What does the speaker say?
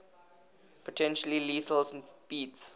potentially lethal speeds